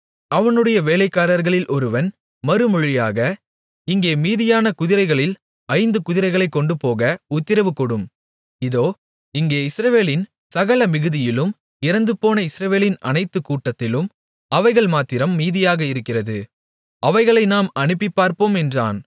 அவனுடைய வேலைக்காரர்களில் ஒருவன் மறுமொழியாக இங்கே மீதியான குதிரைகளில் ஐந்து குதிரைகளைக் கொண்டுபோக உத்திரவு கொடும் இதோ இங்கே இஸ்ரவேலின் சகல மிகுதியிலும் இறந்துபோன இஸ்ரவேலின் அனைத்து கூட்டத்திலும் அவைகள் மாத்திரம் மீதியாக இருக்கிறது அவைகளை நாம் அனுப்பிப்பார்ப்போம் என்றான்